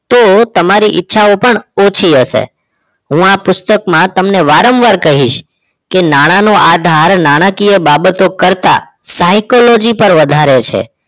તો તમારી ઈચ્છાઓ પણ ઓછી હશે હું આ પુસ્તકમાં તમને વારંવાર કહીશ કે નાણાનો આધાર નાણાકીય બાબતો કરતા psychology પર વધારે છે